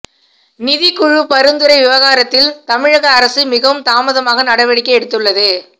நிதிக்குழு பரிந்துரை விவகாரத்தில் தமிழக அரசு மிகவும் தாமதமாக நடவடிக்கை எடுத்துள்ளது